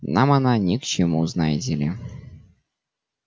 нам она ни к чему знаете ли